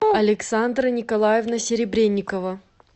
александра николаевна серебрянникова